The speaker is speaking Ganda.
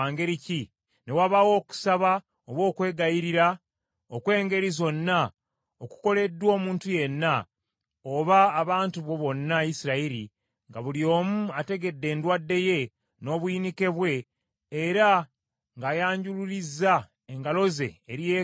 ne wabaawo okusaba oba okwegayirira okw’engeri zonna okukoleddwa omuntu yenna, oba abantu bo bonna Isirayiri, nga buli omu ategedde endwadde ye, n’obuyinike bwe, era ng’ayanjulurizza engalo ze eri yeekaalu eno,